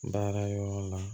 N taara yɔrɔ la